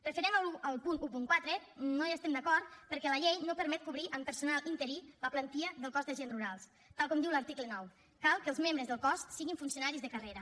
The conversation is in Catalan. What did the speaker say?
referent al punt catorze no hi estem d’acord perquè la llei no permet cobrir amb personal interí la plantilla del cos d’agents rurals tal com diu l’article nou cal que els membres del cos siguin funcionaris de carrera